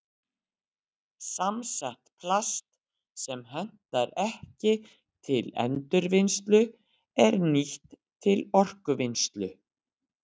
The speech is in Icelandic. Samsett plast sem hentar ekki til endurvinnslu er nýtt til orkuvinnslu.